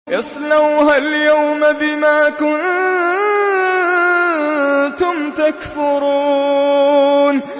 اصْلَوْهَا الْيَوْمَ بِمَا كُنتُمْ تَكْفُرُونَ